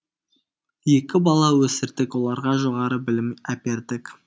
екі бала өсірдік оларға жоғары білім әпердік